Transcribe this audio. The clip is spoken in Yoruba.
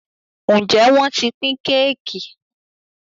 Njé wón t'in pin Kéèkì?